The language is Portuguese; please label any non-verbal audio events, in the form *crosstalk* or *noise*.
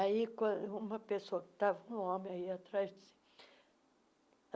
Aí quan uma pessoa que estava *unintelligible* homem aí atrás. disse